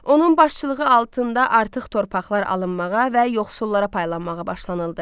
Onun başçılığı altında artıq torpaqlar alınmağa və yoxsullara paylanmağa başlanıldı.